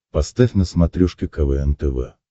поставь на смотрешке квн тв